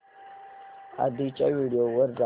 आधीच्या व्हिडिओ वर जा